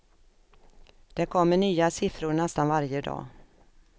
Det kommer nya siffror nästan varje dag.